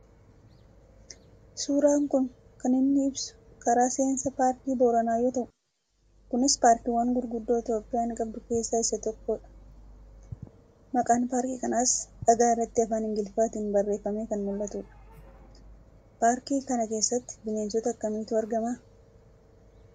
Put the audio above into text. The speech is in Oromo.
Suuraan kun kan inni ibsu karaa seensa paarkii Booranaa yoo ta'u kunis paarkiiwwan gurguddoo Itoophiyaan qabdu keessaa isa tokko dha. Maqaan paarkii kanaas dhagaa irratti Afaan Ingiliffaatiin barreeffamee kan mul'atu dha. Paarkii kana keessatti bineensota akkamiitu argamaa ?